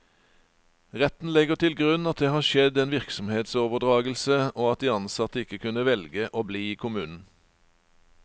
Retten legger til grunn at det har skjedd en virksomhetsoverdragelse, og at de ansatte ikke kunne velge å bli i kommunen.